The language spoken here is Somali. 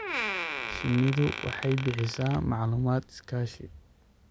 Shinnidu waxay bixisaa macluumaad iskaashi.